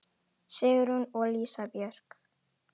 Sigrún og Lísa Björk.